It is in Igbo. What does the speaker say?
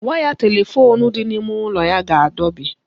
Waya telefoonu dị n'ime ụlọ ya ga-adọbi.